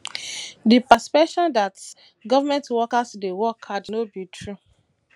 di perception dat government workers dey work hard no be true